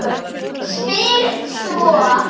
Spyr svo